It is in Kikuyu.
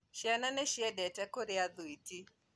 Ciana nĩciendete kũrĩa thwĩtĩ